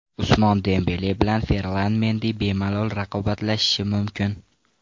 Usmon Dembele bilan Ferlan Mendi bemalol raqobatlashishi mumkin.